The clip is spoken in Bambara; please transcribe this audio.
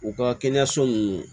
U ka kɛnɛyaso nunnu